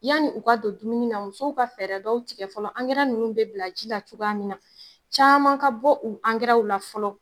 Yanni u ka don dumuni na , musow ka fɛɛrɛ dɔw tigɛ fɔlɔ, ankɛra ninnu bɛ bila ji la cogoya min na, caman ka bɔ u ankɛraw la fɔlɔ.